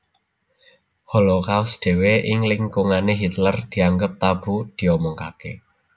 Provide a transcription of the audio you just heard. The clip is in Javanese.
Holocaust dhéwé ing lingkungané Hitler dianggep tabu diomongaké